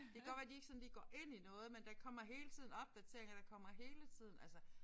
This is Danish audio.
Det godt være de ikke sådan lige går ind i noget men der kommer hele tiden opdateringer der kommer hele tiden altså